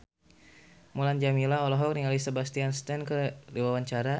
Mulan Jameela olohok ningali Sebastian Stan keur diwawancara